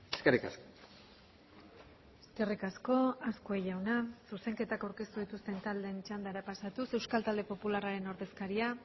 eskerrik asko eskerrik asko azkue jauna zuzenketak aurkeztu dituzten taldeen txandara pasatuz euskal talde popularraren ordezkaria